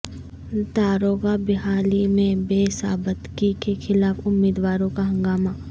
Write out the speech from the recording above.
داروغہ بحالی میں بے ضابطگی کے خلاف امیدواروں کا ہنگامہ